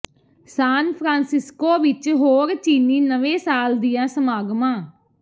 ਸਾਨ Francisco ਵਿੱਚ ਹੋਰ ਚੀਨੀ ਨਵੇਂ ਸਾਲ ਦੀਆਂ ਸਮਾਗਮਾਂ